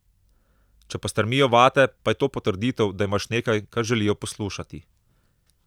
Če pa strmijo vate, pa je to potrditev, da imaš nekaj, kar želijo poslušati.